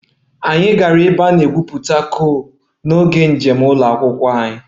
Anyị gara ebe a na-egwupụta coal n'oge njem ụlọ akwụkwọ anyị